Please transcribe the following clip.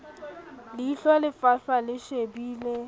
leihlo le fahlwa le shebile